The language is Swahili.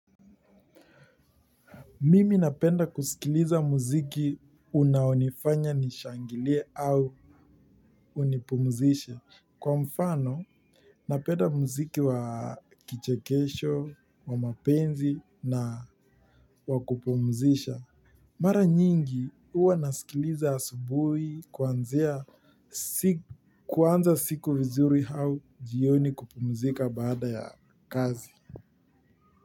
Mimi napenda kusikiliza muziki unaonifanya nishangilie au unipumzishe. Kwa mfano, napenda muziki wa kichekesho, wa mapenzi na wa kupumzisha. Mara nyingi, huwa nasikiliza asubuhi kuanzia kuanza siku vizuri au jioni kupumzika baada ya kazi.